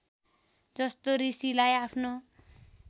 जस्तो ऋषिलाई आफ्नो